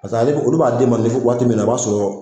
Paseke ale bɛ olu b'a d'e ma waati min na e b'a sɔrɔ